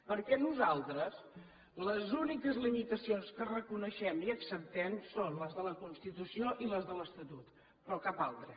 perquè nosaltres les úniques limitacions que reconeixem i acceptem són les de la constitució i les de l’estatut però cap altra